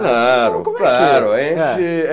Claro, claro. Como é que é?